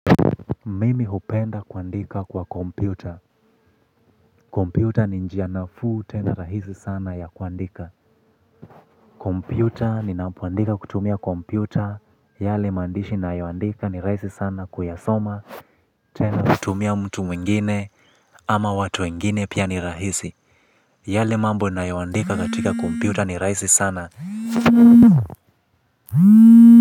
Mimi hupenda kuandika kwa kompyuta, kompyuta ni njia nafuu tena rahisi sana ya kuandika kompyuta yale mandishi ni na yawandika ni rahisi sana kuya soma tena. Kutumia mtu mwingine ama watu mwingine pia ni rahisi yale mambo ni na yawandika katika kompyuta ni rahisi sana.